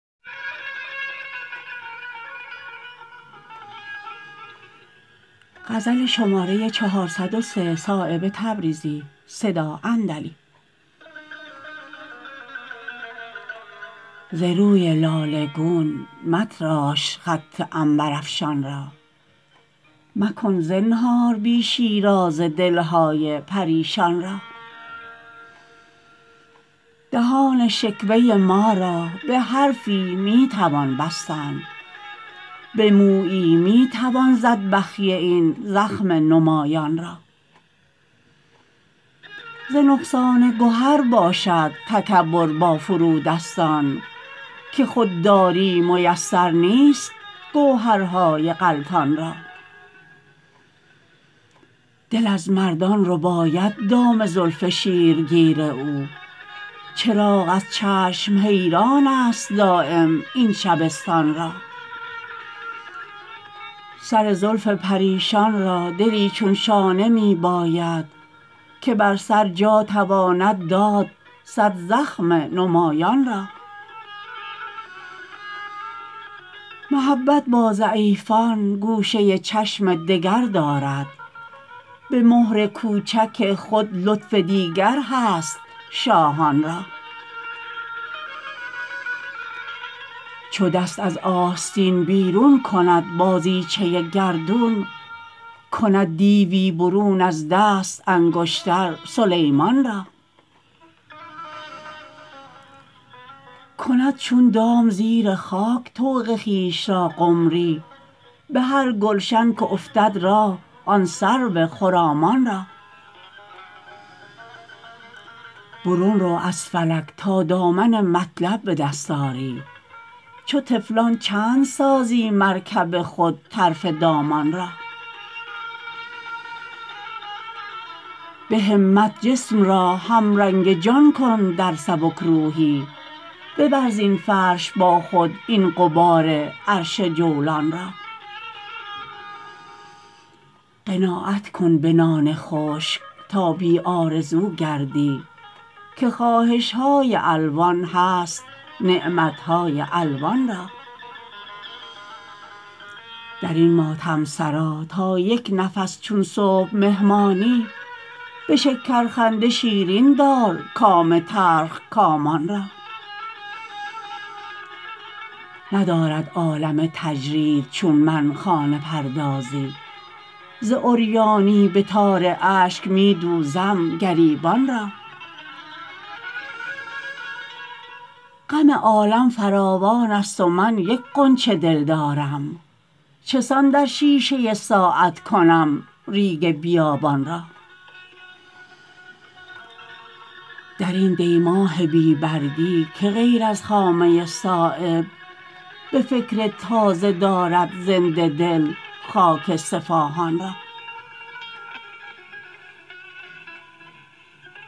ز روی لاله گون متراش خط عنبرافشان را مکن زنهار بی شیرازه دلهای پریشان را دهان شکوه ما را به حرفی می توان بستن به مویی می توان زد بخیه این زخم نمایان را ز نقصان گهر باشد تکبر با فرودستان که خودداری میسر نیست گوهرهای غلطان را دل از مردان رباید دام زلف شیرگیر او چراغ از چشم حیران است دایم این شبستان را سر زلف پریشان را دلی چون شانه می باید که بر سر جا تواند داد صد زخم نمایان را محبت با ضعیفان گوشه چشم دگر دارد به مهر کوچک خود لطف دیگر هست شاهان را چو دست از آستین بیرون کند بازیچه گردون کند دیوی برون از دست انگشتر سلیمان را کند چون دام زیر خاک طوق خویش را قمری به هر گلشن که افتد راه آن سرو خرامان را برون رو از فلک تا دامن مطلب به دست آری چو طفلان چند سازی مرکب خود طرف دامان را به همت جسم را همرنگ جان کن در سبکروحی ببر زین فرش با خود این غبار عرش جولان را قناعت کن به نان خشک تا بی آرزو گردی که خواهش های الوان هست نعمت های الوان را درین ماتم سرا تا یک نفس چون صبح مهمانی به شکر خنده شیرین دار کام تلخکامان را ندارد عالم تجرید چون من خانه پردازی ز عریانی به تار اشک می دوزم گریبان را غم عالم فراوان است و من یک غنچه دل دارم چسان در شیشه ساعت کنم ریگ بیابان را درین دی ماه بی برگی که غیر از خامه صایب به فکر تازه دارد زنده دل خاک صفاهان را